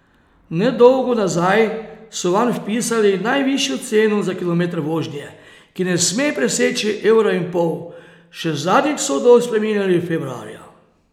Nedolgo nazaj so vanj vpisali najvišjo ceno za kilometer vožnje, ki ne sme preseči evra in pol, še zadnjič so odlok spreminjali februarja.